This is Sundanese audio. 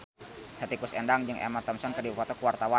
Hetty Koes Endang jeung Emma Thompson keur dipoto ku wartawan